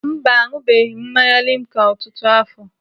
Mba, aṅụbeghị m mmanya limca ọtụtụ afọ.